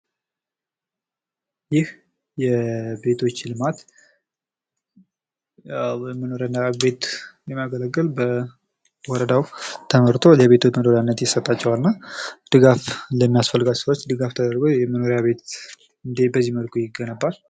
ይህ የቤቶች ልማት የመኖሪያ ቤት የሚያገለግል በወረዳዉ ተመርቶ ለቤቶች መኖሪያነት ይሰጣቸዋል። እና ድጋፍ ለሚያስፈልጋቸዉ በዚህ መልኩ ተሰርቶ ድጋፍ ይደረጋል።